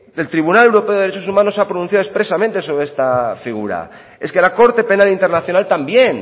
el tribunal europeo de los derechos humanos se ha pronunciado expresamente sobre esta tribuna es que la corte penal internacional también